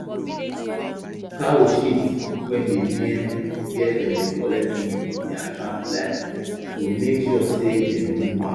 cow shit wey dey near where dem dey collect milk dey attract flies so make sure sey dem remove am